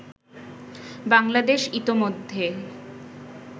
বাংলাদেশ ইতোমধ্যেই